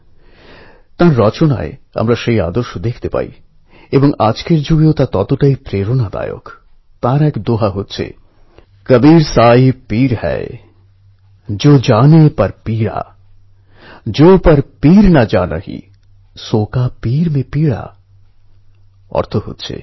ভিতরের খবরটি পড়ার পর জানতে পারলাম আমাদের যুবশক্তি কীভাবে টেকনোলজির স্মার্ট এবং ক্রিয়েটিভ ইউজএর সাহায্যে সাধারণ মানুষের জীবনে পরিবর্তন আনার চেষ্টা করছে